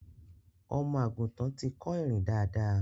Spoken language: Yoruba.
Ọmọ àgùntan ti kọ́ ìrìn dáadáa.